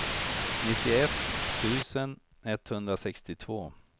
nittioett tusen etthundrasextiotvå